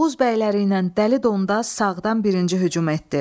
Oğuz bəyləriylə Dəli Dondaz sağdan birinci hücum etdi.